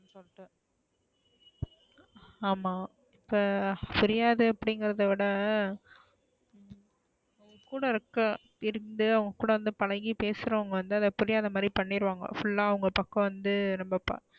ஆமா இப்ப புரியாது அப்டிங்கறத விட கூட இருக்கிற இருந்து அவுங்க கூட இருந்து பழகி பேசறவங்க வந்து அத புரியாத மாறி பண்ணிருவாங்க full அ அவுங்க பக்கம் வந்து ரொம்ப,